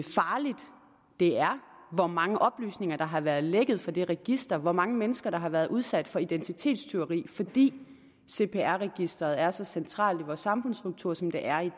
farligt det er hvor mange oplysninger der har været lækket fra det register hvor mange mennesker der har været udsat for identitetstyveri fordi cpr registeret er så centralt i vores samfundsstruktur som det er i